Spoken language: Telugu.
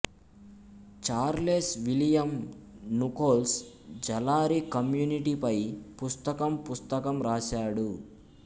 చార్లెస్ విలియం నుకోల్స్ జలారీ కమ్యూనిటీపై పుస్తకం పుస్తకం రాశాడు